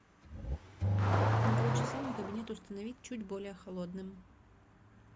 на полчаса мой кабинет установить чуть более холодным